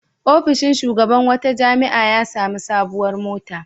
Ofishin shugaban wata jami'a ya sami sabuwar mota.